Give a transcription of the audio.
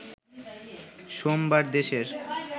সোমবার দেশের